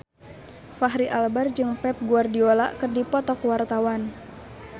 Fachri Albar jeung Pep Guardiola keur dipoto ku wartawan